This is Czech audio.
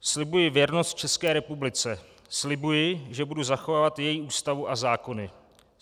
"Slibuji věrnost České republice, slibuji, že budu zachovávat její Ústavu a zákony.